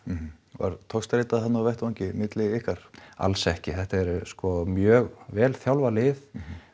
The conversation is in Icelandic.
var togstreita þarna á vettvangi milli ykkar alls ekki þetta er sko mjög vel þjálfað lið